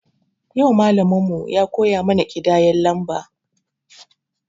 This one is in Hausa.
Yau malamin mu ya koya mana kidayen lamba